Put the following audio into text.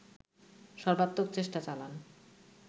সর্বাত্মক চেষ্টা চালান